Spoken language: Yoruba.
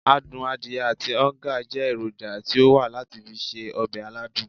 Adun adiye ati oonga je eroja ti o wa lati fi se obe aladun.